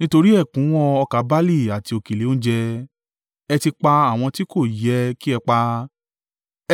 Nítorí ẹ̀kúnwọ́ ọkà barle àti òkèlè oúnjẹ. Ẹ ti pa àwọn tí kò yẹ kí ẹ pa,